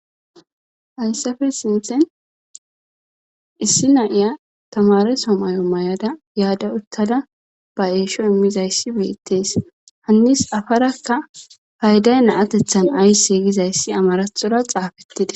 hHaysafe sinthen issi naiya tamare somayo may'ada yaadda uttada ba eesho immizayssi beettees hannis afarakka payday na atethan aysse gizayssi amarathora xaafettidees.